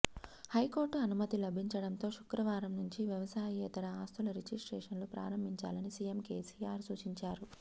high court అనుమతి లభించడంతో శుక్రవారం నుంచి వ్యవసాయేతర ఆస్తుల రిజిస్ట్రేషన్లు ప్రారంభించాలని సీఎం కేసీఆర్ సూచించారు